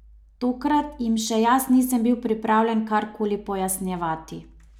Tokrat jim še jaz nisem bil pripravljen kar koli pojasnjevati.